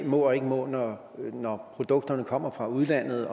må og ikke må når produkterne kommer fra udlandet